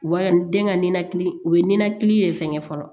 U b'a den ka ninakili u bɛ ninakili fɛngɛ fɔlɔ